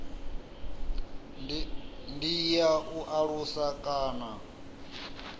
ndi ya u alusa kana